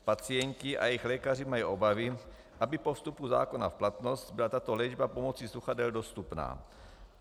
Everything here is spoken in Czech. Pacienti a jejich lékaři mají obavy, aby po vstupu zákona v platnost byla tato léčba pomocí sluchadel dostupná.